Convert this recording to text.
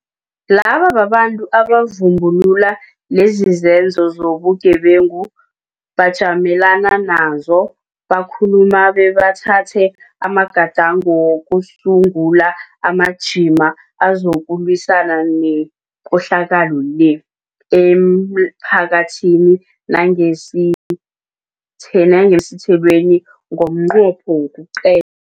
Laba babantu abavumbu lula lezizenzo zobugebengu, bajamelana nazo, bakhuluma bebathatha amagadango wokusungula amajima azokulwisana nekohlakalo le, emphakathini nangemsitheleni ngomnqopho wokuqe